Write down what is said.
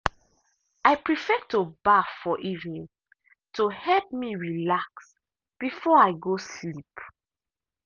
i prefer to baff for evening to help me relax before i go sleep.